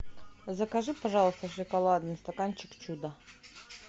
закажи пожалуйста шоколадный стаканчик чудо